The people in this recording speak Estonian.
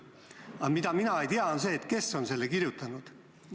Aga mida mina ei tea, on see, kes on selle kirjutanud.